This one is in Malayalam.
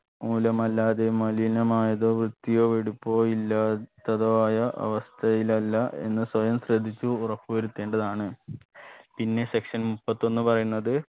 മൂലമല്ലാതെ മലിനമായതോ വൃത്തിയോ വെടിപ്പോ ഇല്ലാത്തതോ ആയ അവസ്ഥയിലല്ല എന്ന് സ്വയം ശ്രദ്ധിച്ചു ഉറപ്പ് വരുത്തേണ്ടതാണ് പിന്നെ section മുപ്പത്തൊന്ന് പറയുന്നത്